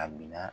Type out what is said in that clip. A bila